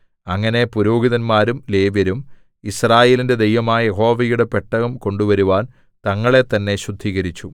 അങ്ങനെ പുരോഹിതന്മാരും ലേവ്യരും യിസ്രായേലിന്റെ ദൈവമായ യഹോവയുടെ പെട്ടകം കൊണ്ടുവരുവാൻ തങ്ങളെ തന്നേ ശുദ്ധീകരിച്ചു